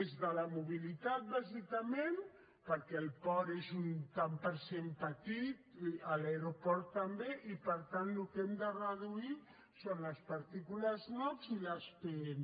és de la mobilitat bàsicament perquè el port és un tant per cent petit l’aeroport també i per tant el que hem de reduir són les partícules nox i les pm